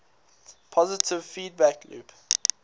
positive feedback loop